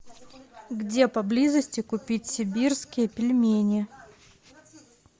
где поблизости купить сибирские пельмени